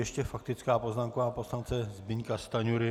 Ještě faktická poznámka pana poslance Zbyňka Stanjury.